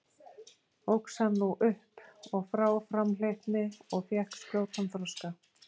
Óx hann nú upp og frá framhleypni og fékk skjótan þroska.